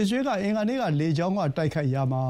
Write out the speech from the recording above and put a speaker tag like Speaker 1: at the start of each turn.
Speaker 1: အစ္စရေးက အင်္ဂါနေ့ လေကြောင်းတိုက်ခိုက်ရာမှာ